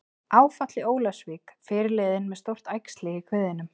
Áfall í Ólafsvík- Fyrirliðinn með stórt æxli í kviðnum